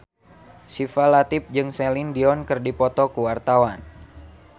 Syifa Latief jeung Celine Dion keur dipoto ku wartawan